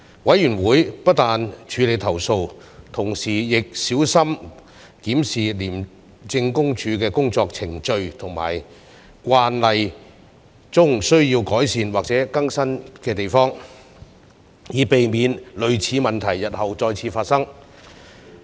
委員會不但處理投訴，同時亦小心檢視廉政公署的工作程序和慣例中需要改善或更新之處，以避免類似問題日後再次發生。